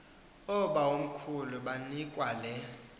oobawomkhulu banikwa le